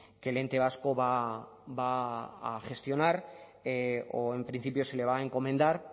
que el ente vasco va a gestionar o en principio se le va a encomendar